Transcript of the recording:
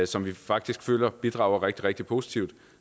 som vi faktisk føler bidrager rigtig rigtig positivt